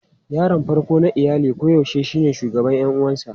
Yaron farko na iyali koyaushe shine shugaban ƴan uwansa.